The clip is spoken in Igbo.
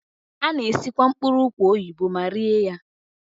A na-esikwa mkpụrụ ụkwa oyibo ma rie ya.